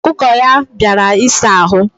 Okuko ya biara isa ahu.